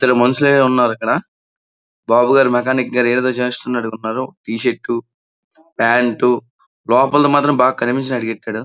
చాలా మనుసులైతే ఉన్నారు అక్కడ బాబుగారు మెకానిక్ గదా ఏదేదో చేస్తున్నట్టు ఉన్నారు టీ షర్ట్ ప్యాంటు లోపలది మాత్రం బాగా కనిపించినట్టు ఎట్టాడు.